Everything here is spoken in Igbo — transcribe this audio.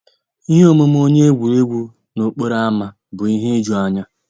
Íhé òmùmé ónyé égwurégwu n'òkpòró ámá bụ́ íhé ìjùányá.